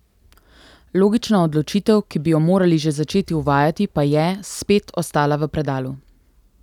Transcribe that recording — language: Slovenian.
Logična odločitev, ki bi jo morali že začeti uvajati, pa je, spet, ostala v predalu.